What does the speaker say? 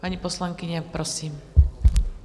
Paní poslankyně, prosím.